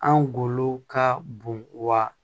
An golo ka bon wa